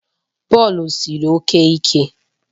Bọọlụ siri oke ike